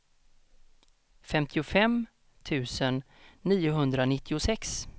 femtiofem tusen niohundranittiosex